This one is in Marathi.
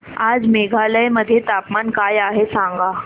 आज मेघालय मध्ये तापमान काय आहे सांगा